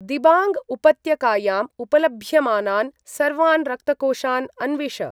दिबाङ्ग् उपत्यकायां उपलभ्यमानान् सर्वान् रक्तकोषान् अन्विष।